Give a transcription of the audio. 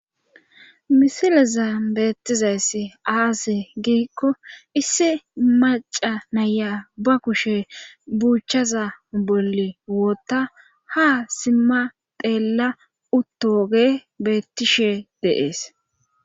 Misileza beettizayssi aase giikko issi maca naya ba kushe buuchaza bolle wootta ha simma xeella uttoge beettishe deees.